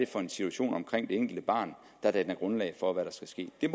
for en situation omkring det enkelte barn der danner grundlag for hvad der skal ske der